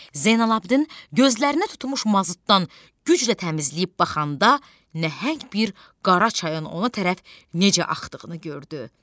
Zeynalabidin gözlərinə tutmuş mazutdan güclə təmizləyib baxanda nəhəng bir qara çayın ona tərəf necə axdığını gördü.